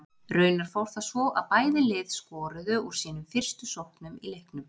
Raunar fór það svo að bæði lið skoruðu úr sínum fyrstu sóknum í leiknum.